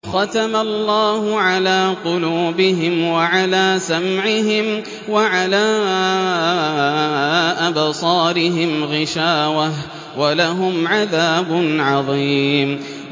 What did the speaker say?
خَتَمَ اللَّهُ عَلَىٰ قُلُوبِهِمْ وَعَلَىٰ سَمْعِهِمْ ۖ وَعَلَىٰ أَبْصَارِهِمْ غِشَاوَةٌ ۖ وَلَهُمْ عَذَابٌ عَظِيمٌ